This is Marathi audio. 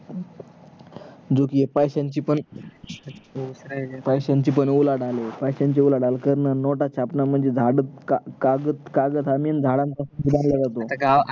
जो कि पैस्यांची पण , पैस्यांची पण उलाढाल आहे पैस्यांची उलाढाल करन नोट छापणे म्हणजे झाड म्हणजे काग कागज, कागज हा main झाडापासून बनवला जातो